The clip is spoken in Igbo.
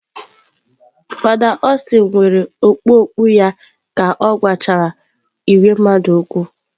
Fada Austin were okpu okpu okpu ya ka ọ gwachara ìgwè mmadụ okwu.